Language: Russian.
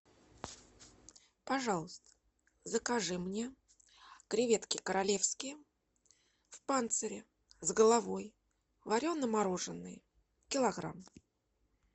пожалуйста закажи мне креветки королевские в панцире с головой варено мороженные килограмм